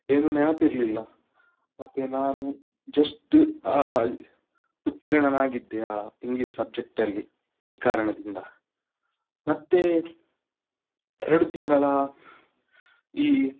ಏನು ನೆನಪಿರ್ಲಿಲ್ಲ, ಮತ್ತೆ ನಾನು just ಆ ಉತ್ತೀರ್ಣನಾಗಿದ್ದೆ ಆ English subject ಅಲ್ಲಿ ಈ ಕಾರಣದಿಂದ. ಮತ್ತೆ ಎರಡು ತಿಂಗಳ ಈ.